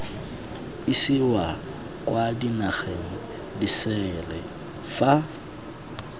isiwa kwa dinageng disele fa